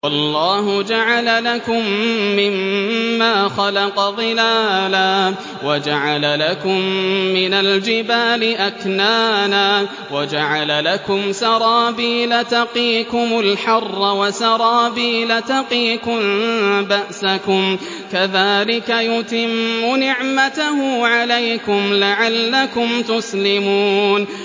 وَاللَّهُ جَعَلَ لَكُم مِّمَّا خَلَقَ ظِلَالًا وَجَعَلَ لَكُم مِّنَ الْجِبَالِ أَكْنَانًا وَجَعَلَ لَكُمْ سَرَابِيلَ تَقِيكُمُ الْحَرَّ وَسَرَابِيلَ تَقِيكُم بَأْسَكُمْ ۚ كَذَٰلِكَ يُتِمُّ نِعْمَتَهُ عَلَيْكُمْ لَعَلَّكُمْ تُسْلِمُونَ